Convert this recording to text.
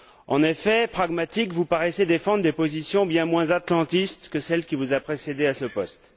En effet, pragmatique, vous paraissez défendre des positions bien moins atlantistes que celle qui vous a précédée à ce poste.